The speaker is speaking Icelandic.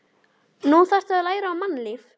Nú þarftu að læra á mannlífið.